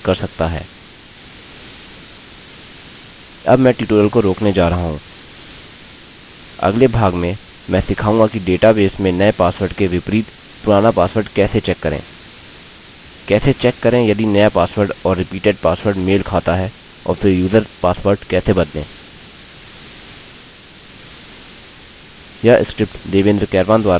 अब मैं ट्यूटोरियल को रोकने जा रहा हूँ अगले भाग में मैं सिखाऊँगा कि डेटाबेस में नये पासवर्ड के विपरीत पुराना पासवर्ड कैसे चेक करें कैसे चेक करें यदि नया पासवर्ड और रिपीडेट पासवर्ड मेल खाता है और फिर यूजर्स पासवर्ड कैसे बदलें